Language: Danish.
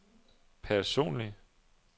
personlig